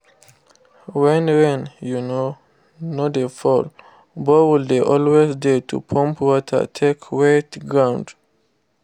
when rain um no dey fall borehole dey always dey to pump water take wet ground